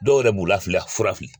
Dɔw yɛrɛ b'u la fura fili.